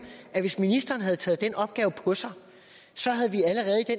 at hvis ministeren havde taget den opgave på sig